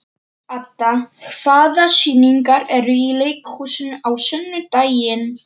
Adda, hvaða sýningar eru í leikhúsinu á sunnudaginn?